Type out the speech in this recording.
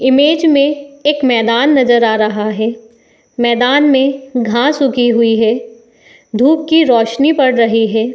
image में एक मैदान नज़र आ रहा है | मैदान में घास उगी हुई है | धूप की रौशनी पड़ रही है |